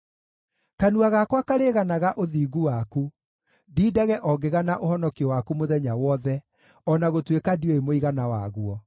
Kanua gakwa karĩganaga ũthingu waku, ndindage o ngĩgana ũhonokio waku mũthenya wothe, o na gũtuĩka ndiũĩ mũigana waguo.